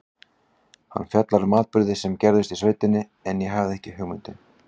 Hann fjallar um atburði sem gerðust í sveitinni, en ég hafði ekki hugmynd um.